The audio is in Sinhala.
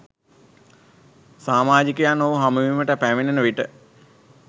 සාමාජිකයන් ඔහු හමුවීමට පැමිණෙන විට